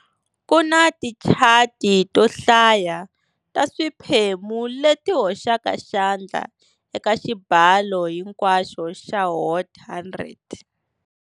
Kuna tichati to hlaya ta swiphemu leti hoxaka xandla eka xibalo hinkwaxo xa Hot 100.